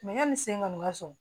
yanni sen kɔni ka sɔn